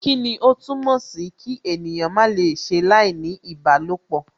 Kíni ó túmọ̀ sìí kí ènìyàn má lè ṣe láìní ìbálòpọ?